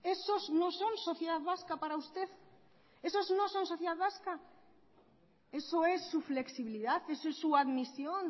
esos no son sociedad vasca para usted esos no son sociedad vasca eso es su flexibilidad es su admisión